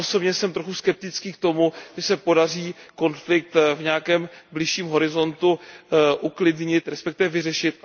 Já sám osobně jsem trochu skeptický k tomu, že se podaří konflikt v nějakém bližším horizontu uklidnit, respektive vyřešit.